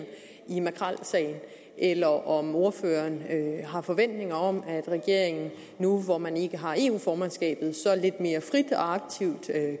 i makrelsagen eller om ordføreren har forventninger om at regeringen nu hvor man ikke har eu formandskabet så lidt mere frit og aktivt